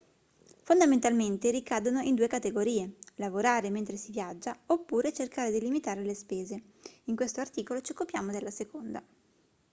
fondamentalmente ricadono in due categorie lavorare mentre si viaggia oppure cercare di limitare le spese in questo articolo ci occupiamo della seconda